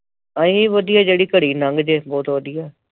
ਅਹੀ ਵਧੀਆ ਜਿਹੜੀ ਘੜੀ ਨੰਘ ਜੇ ਬਹੁਤ ਵਧੀਆ